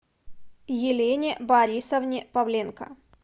елене борисовне павленко